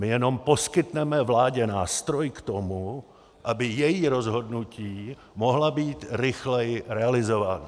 My jenom poskytneme vládě nástroj k tomu, aby její rozhodnutí mohla být rychleji realizována.